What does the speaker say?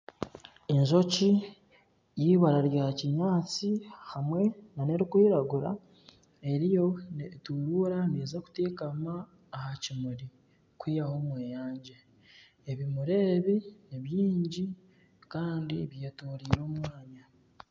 Enjoki eyibara rya kinyatsi hamwe nana erikwiragura eriyo neturuura neza kuteekama aha kimuri kwihahaho omweyangye ebimuri ebi ni byingi Kandi byetoreire omwanya .